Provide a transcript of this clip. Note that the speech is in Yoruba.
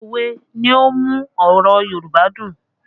Òwe ni ó ń mú ọ̀rọ̀ Yorùbá dùn